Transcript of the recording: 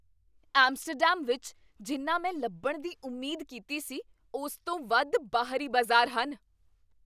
Amsterdam ਵਿੱਚ ਜਿੰਨਾ ਮੈਂ ਲੱਭਣ ਦੀ ਉਮੀਦ ਕੀਤੀ ਸੀ ਉਸ ਤੋਂ ਵੱਧ ਬਾਹਰੀ ਬਾਜ਼ਾਰ ਹਨ।